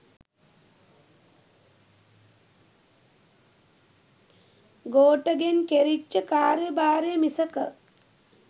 ගෝඨගෙන් කෙරිච්ච කාර්ය භාරය මිසක